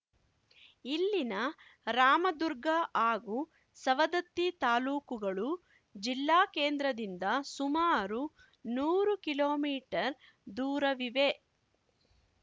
ಇಲ್ಲಿನ ರಾಮದುರ್ಗ ಹಾಗೂ ಸವದತ್ತಿ ತಾಲೂಕುಗಳು ಜಿಲ್ಲಾ ಕೇಂದ್ರದಿಂದ ಸುಮಾರು ನೂರು ಕಿಲೋಮೀಟರ್ ದೂರವಿವೆ